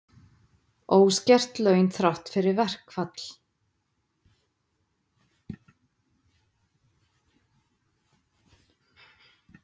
Óskert laun þrátt fyrir verkfall